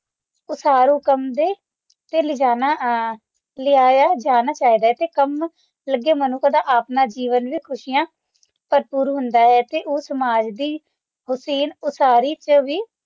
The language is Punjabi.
ਉਸਾਰੂ ਕੰਮ ਤੇ ਤੇ ਲੈ ਜਾਣਾ ਅ ਲਿਆਇਆ ਜਾਣਾ ਚਾਹੀਦਾ ਹੈ ਤੇ ਕੰਮ ਲਗੇ ਮਨੁੱਖ ਦਾ ਆਪਣਾ ਜੀਵਨ ਵੀ ਖੁਸ਼ੀਆਂ ਭਰਭੂਰ ਹੁੰਦਾ ਹੈ ਅਤੇ ਉਹ ਸਮਾਜ ਦੀ ਓਤਿਨ ਉਸਾਰੀ ਚ ਵੀ